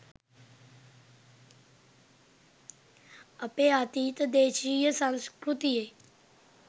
අපේ අතීත දේශීය සංස්කෘතියෙ